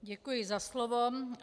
Děkuji za slovo.